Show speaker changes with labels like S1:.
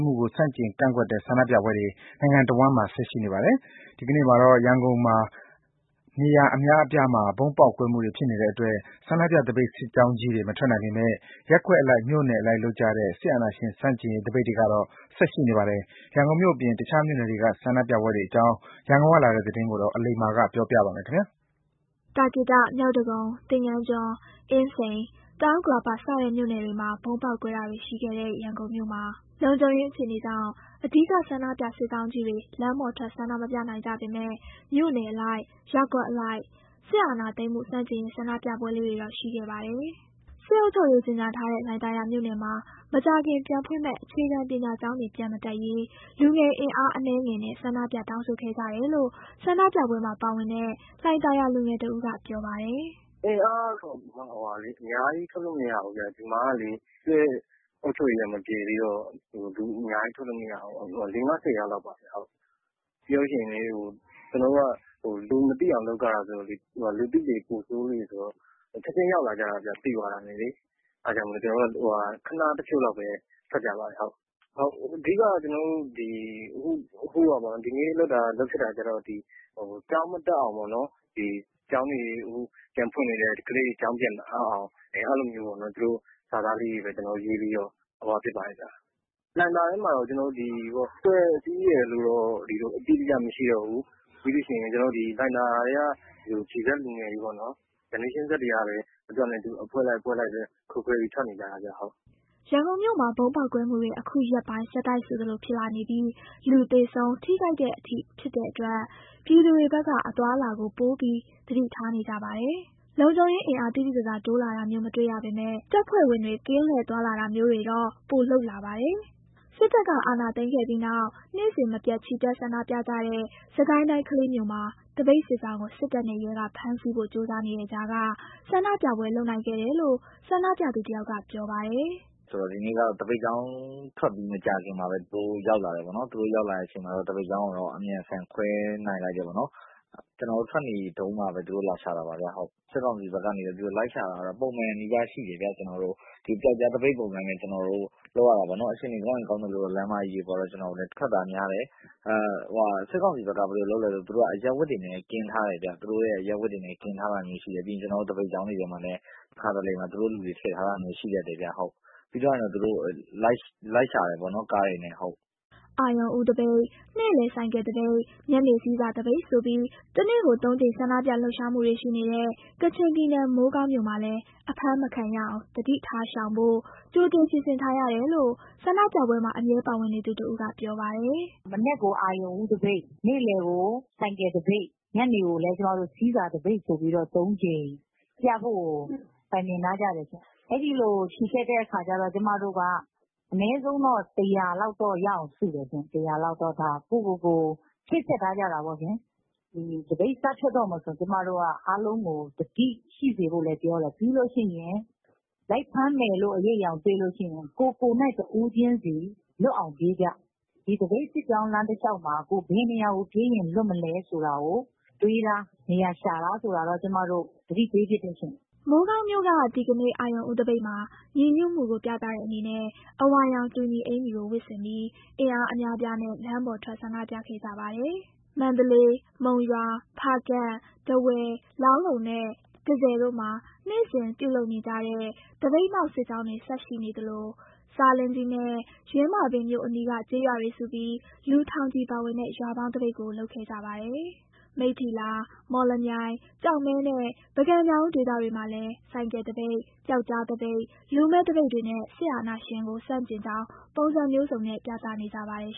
S1: မှုကို ဆန့်ကျင်ကန့်ကွက်တဲ့ ဆန္ဒပြပွဲတွေ နိုင်ငံတဝန်းမှာ ဆက်ရှိနေပါတယ်။ ဒီကနေ့မှာတော့ ရန်ကုန်မြို့ နေရာအများအပြားမှာ ဗုံးပေါက်ကွဲတာတွေ ရှိတဲ့အတွက် ဆန္ဒပြသပိတ်စစ်ကြောင်းကြီးတွေ မထွက်နိုင်ပေမယ့် ရပ်ကွက်အလိုက် မြို့နယ်အလိုက်လုပ်ကြတဲ့ စစ်အာဏာရှင် ဆန့်ကျင်ရေး သပိတ်တွေကတော့ ဆက်ရှိနေပါတယ်။ ရန်ကုန်မြို့အပြင် တခြားမြို့နယ်တွေက ဆန္ဒပြပွဲတွေအကြောင်း ရန်ကုန်ကလာတဲ့သတင်းကို အလိမ္မာက ပြောပြပါမယ်။
S2: သာကေတ၊ မြောက်ဒဂုံ၊ သင်္ဃန်းကျွန်း၊ အင်းစိန်၊ တောင်ဥက္ကလာပ စတဲ့မြို့နယ်တွေမှာ ဗုံးပေါက်ကွဲတာတွေရှိခဲ့တဲ့ ရန်ကုန်မြို့မှာ လုံခြုံရေးအခြေအနေကြောင့် အဓိက ဆန္ဒပြစစ်ကြောင်းကြီးတွေ လမ်းပေါ် ထွက် ဆန္ဒမပြနိုင်ကြပေမဲ့ မြို့နယ်အလိုက် ရပ်ကွက်အလိုက် စစ်အာဏာသိမ်းမှု ဆန့်ကျင်ရေး ဆန္ဒပြပွဲလေးတွေတော့ ရှိခဲ့ပါတယ်။ စစ်အုပ်ချုပ်ရေး ကြေညာထားတဲ့ လှိုင်သာယာမြို့နယ်မှာ မကြာခင်ပြန်ဖွင့်မယ့် အခြေခံပညာကျောင်းတွေ ပြန်မတက်ရေး လူငယ်အင်အား အနည်းငယ်နဲ့ ဆန္ဒပြ တောင်းဆိုခဲ့ကြတယ်လို့ ဆန္ဒပြပွဲမှာပါဝင်တဲ့ လှိုင်သာယာလူငယ်တစ်ဦးက ပြောပါတယ်။
S1: “အင်အားကတော့ အများကြီးထွက်လို့မရဘူးဗျ၊ ဒီမှာကလေ စစ်အုပ်ချုပ်ရေးက မပယ်ဖျက်သေး တော့ အရမ်းကြီး လူအများကြီး ထွက်လို့မရဘူး။ ၄၊ ၅၊ ၁၀ ယောက်လောက်ပါပဲ။ ပြီးရင် ကျွန်တော်တို့က လူမသိအောင်လုပ်ရတာဆိုတော့လေ လူသိလေ ပိုဆိုးလေ၊ သိသွားတာနဲ့ ချက်ချင်း ရောက်လာကြတာဗျ။ အဲ့ဒါကြောင့်မို့ ကျွန်တော်တို့က ခဏတစ်ဖြုတ်လောက်ပဲ ထွက်ကြပါတယ်။ အခု ကျွန်တော်တို့ ဒီနေ့ လုပ်ဖြစ်တာကျတော့ ကျောင်းတွေ ပြန်မတက်ဖို့ပေါ့၊ ခုကျောင်းတွေ ပြန်ဖွင့်နေတော့ ကလေးတွေကို ကျောင်းတွေ ပြန်မအပ်အောင်ပေါ့၊ အဲ့လိုလေးတွေ ရေးပြီးတော့ ဆန္ဒပြကြတာပါ။ လှိုင်သာယာထဲမှာက ကျွန်တော်တို့မှာ အဖွဲ့အစည်းရယ်လို့တော့ မရှိတောဘူး။ လှိုင်သာယာထဲက Gz လူငယ်တွေပေါ့နှော်၊ Gz တွေကပဲ အဖွဲ့လိုက် ခွဲခွဲပြီး ထွက်နေကြတာပေါ့ ပါ့နှော်”
S2: ရန်ကုန်မြို့မှာ ဗုံးကွဲမှုတွေ အခုရက်ပိုင်း ဆက်တိုက်ဆိုသလိုဖြစ်လာနေပြီး လူသေဆုံး၊ ထိခိုက်တဲ့အထိဖြစ်တဲ့အတွက် ပြည်သူတွေဘက်က အသွားအလာကို ပိုပြီးသတိထားနေကြပါတယ်။ လုံခြုံရေးအင်အား သိသိသာသာ တိုးလာတာမျိုး မတွေ့ရပေမဲ့ တပ်ဖွဲ့ဝင်တွေ ကင်းလှည့် သွားလာတာမျိုးတွေတော့ ပိုလုပ်လာပါတယ်။ စစ်တပ်က အာဏာသိမ်းခဲ့ပြီးနောက် နေ့စဉ်မပျက် ချီတက်ဆန္ဒပြကြတဲ့ စစ်ကိုင်းတိုင်း ကလေးမြို့မှာ သပိတ်စစ်ကြောင်းကို စစ်တပ်နဲ့ရဲက ဖမ်းဆီးဖို့ ကြိုးစားနေတဲ့ကြားက ဆန္ဒပြပွဲ လုပ်နိုင်ခဲ့တယ်လို့ ဆန္ဒပြသူတယောက်က ပြောပါတယ်
S3: ။ “ဒီနေ့က ဘယ်လိုဖြစ်လဲဆိုတော့ သပိတ်ကြောင်းထွက်ပြီး မကြာခင်မှာပဲ သူတို့(စစ်ကောင်စီတပ်) ရောက်လာတယ်ပေါ့နှော်။ သူတို့ ရောက်လာတဲ့အချိန်မှာ သပိတ်ကြောင်းကိုတော့ အမြန်လူစုခွဲလိုက်နိုင်တယ်ပေါ့နှော်။ ကျနော်တို့ ထွက်နေတုန်းမှာပဲ သူတို့လာရှာတာပါ။ စစ်ကောင်စီဘက်ကနေ ကျနော်တို့ကို လိုက်ရှာတာက ပုံမှန်နီးပါးရှိတယ်ဗျ။ ပျောက်ကြားသပိတ်ပဲ လုပ်ကြတာပေါ့။ အခြေအနေကောင်းရင် ကောင်းသလိုတော့ လမ်းမကြီးတွေပေါ်ကို သပိတ်တွေ ပြန်ထွက်ကြတယ်။ စစ်ကောင်စီဖက်က အရပ်ဝတ်တွေနဲ့ ကင်းထားတယ်ဗျ။ ပြီးရင် ကျနော်တို့ သပိတ်ကြောင်းတွေထဲမှာလဲ တခါတလမှာ သူတို့လူတွေ ထည့်ထားတာမျိုးရှိတတ်တယ်ဗျ။ ပြီးရင်တော့ ကျနော်တို့ကို ကားတွေနဲ့လိုက်ရှာတာပေါ့။” အ
S2: ရုဏ်ဦးသပိတ်၊ နေ့လည်ဆိုင်ကယ်သပိတ်၊ ညနေဆည်းဆာသပိတ်ဆိုပြီး တနေ့ကိုသုံးကြိမ် ဆန္ဒပြ လှုပ်ရှားမှုတွေရှိနေတဲ့ ကချင်ပြည်နယ် မိုးကောင်းမြို့မှာလည်း အဖမ်းမခံရအောင် သတိထားရှောင်ဖို့ ကြိုတင်ပြင်ဆင်ထားရတယ်လို့ ဆန္ဒပြပွဲမှာ အမြဲပါဝင်နေသူတစ်ဦးက ပြောပါတယ်။ “မနက်ကို အရုဏ်ဦးသပိတ်၊ နေ့လည်ကို ဆိုင်ကယ်သပိတ်၊
S4: ညနေကိုလည်း ကျမတို့ ဆည်းဆာသပိတ်ဆိုပြီးတော့ သုံးကြိမ်ပြဖို့ကို တိုင်ပင်ထားကြတယ်ရှင့်၊ အဲ့ဒီလိုချီတက်တဲ့အခါကျတော့ ကျမတို့က အနည်းဆုံးတော့ လူ ၁၀၀ လောက်တော့ ရအောင်စုတယ် ၁၀၀ လောက်တော့ ဒါ ကိုယ့်ကိုယ်ကိုယ် ချိတ်ဆက်ထားကြတာပေါ့ရှင်။ သပိတ် စထွက်တော့မယ်ဆိုရင် ကျမတို့က အားလုံးကို သတိရှိစေဖို့ လည်း ပြောတယ် ပြီးလို့ရှိရင် လိုက်ဖမ်းမယ်လို့ အရိပ်အယောင်တွေ့လို့ရှိရင် ကိုယ်ကိုယ်တိုင်း တစ်ဦးချင်းဆီ လွတ်အောင်ပြေးကြ၊ ဒီသပိတ်စစ်ကြောင်း လမ်းတစ်လျှောက်မှာ ကိုယ်ဘယ်နေရာမှာ ပြေးရင်လွတ်မလဲဆိုတာကို တွေးထား၊ နေရာရှာထားဆိုတာတော့ ကျမတို့ သတိပေးဖြစ်တယ်ရှင်။”
S2: မိုးကောင်းမြို့က ဒီကနေ့ အရုဏ်ဦးသပိတ်မှာ ညီညွှတ်မှုကို ပြသတဲ့အနေနဲ့ အဝါရောင်တူညီအင်္ကျီကို ဝတ်ဆင်ပြီး အင်အားအများအပြားနဲ့ လမ်းပေါ်ထွက်ဆန္ဒပြခဲ့ကြတာပါ။ မန္တလေး၊ မုံရွာ၊ ဖားကန့်၊ ထားဝယ် ၊ လောင်းလုံနဲ့ တန့်ဆည်တို့မှာ နေ့စဉ်ပြုလုပ်ကြတဲ့ သပိတ်မှောက်စစ်ကြောင်းတွေ ဆက်ရှိနေသလို ဆားလင်းကြီးနဲ့ ယင်းမာပင်မြို့အနီးက ကျေးရွာတွေစုပြီး လူထောင်ချီပါဝင်တဲ့ ရွာပေါင်းသပိတ်ကို လုပ်ခဲ့ကြပါတယ်။ မိတ္ထီလာ၊ မော်လမြိုင်၊ ကျောက်မဲနဲ့ ပုဂံ၊ညောင်ဦးဒေသတွေမှာလည်း ဆိုင်ကယ်သပိတ်၊ ပျောက်ကြားသပိတ်၊ လူမဲ့သပိတ်တွေနဲ့ စစ်အာဏာရှင်ကိုဆန့်ကျင်ကြောင်း ပုံစံမျိုးစုံနဲ့ ပြသနေကြပါတယ်